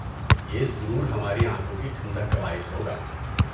یہ ضرور ہماری آنکھوں کی ٹھنڈک کا باعث ہوگا۔